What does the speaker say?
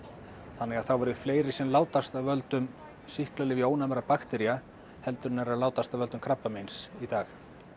þannig að þá verði fleiri sem látast af völdum sýklalyfjaónæmra baktería heldur en eru að látast af völdum krabbameins í dag